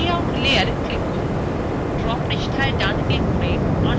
draw পৃষ্ঠায় map নির্বাচন করুন এবংবস্তুগুলি পৃথক করুন